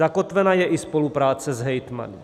Zakotvena je i spolupráce s hejtmany.